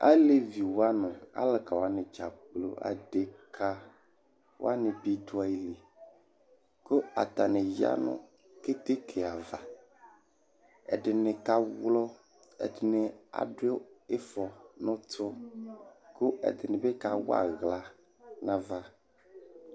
Aleviwa nʋ alʋkawani dzaa kplo, adekawani bi dʋ ayili, kʋ atani ya nʋ keteke ava, ɛdini kawlɔ, ɛdini adʋ ifɔ n'ʋtʋ, kʋ ɛdini bi kaw'aɣla n'ava